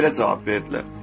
Mənə belə cavab verdilər.